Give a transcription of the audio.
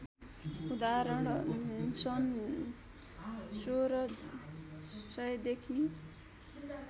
उदाहरण सन् १६०० देखि